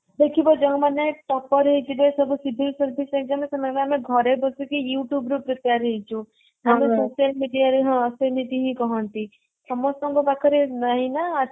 ଦେଖିବା ଯୋଉ ମାନେ topper ହେଇଥିବେ ସବୁ civil service exam ରେ ସେମାନେ କହିବେ ଆମେ ଘରେ ବସିକି youtube ରୁ prepare ହେଇଛୁ social media ରେ ହଁ ସେମିତି ହିଁ କହନ୍ତି ସମସ୍ତଙ୍କ ପାଖରେ ନାହିଁ ନା